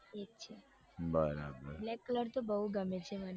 એક છે બરાબર black colour તો બઉ ગમે છે મને